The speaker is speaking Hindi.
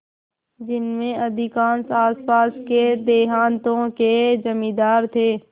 जिनमें अधिकांश आसपास के देहातों के जमींदार थे